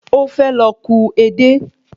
Ó fẹ́ lọ ku edé